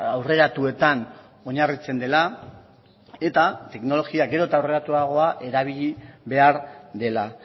aurreratuetan oinarritzen dela eta teknologia gero eta aurreratuagoa erabili behar dela